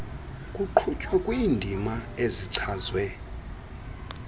kuqhutywa kwiindima ezichazwe